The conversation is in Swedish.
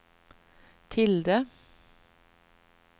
tilde